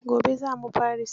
Gobe za mu Paris.